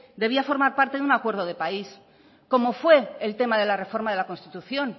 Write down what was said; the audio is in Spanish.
debía formar parte de un acuerdo de país como fue el tema de la reforma de la constitución